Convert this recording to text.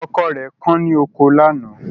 Ọkọ rẹ̀ kán ní oko lánàá